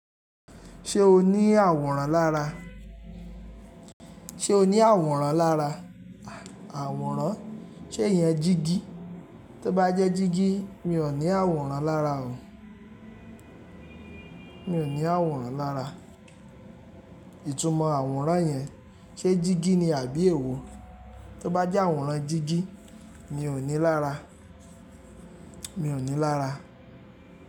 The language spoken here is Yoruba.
Ṣé o ní àwòrán lára? Ṣé o ní àwòrán lára? Àwòrán? Ṣé ìyẹn jígí? Tó bá jẹ́ jígí, mi ò ní àwòrán lára o. Mi ò ní àwòrán lára. Ìtumọ̀ àwòrán yẹn ṣe jígí ni àbí èwo? Tó bá jẹ́ àwòrán jígí, mi ò ní lára. Mi ò ní lára.